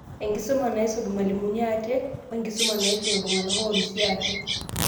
Enkisuma naisum irmalimuni ate, wo enkisuma naisum iltung'anak oorisio ate.